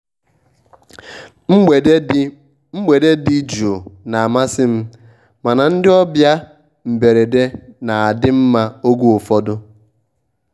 mgbede di mgbede di jụụ na amasị m mana ndị ọbịa mberede na-adị mma oge ụfọdụ